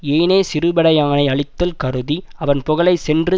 ஏனை சிறுபடையானை அழித்தல் கருதி அவன் புகலை சென்று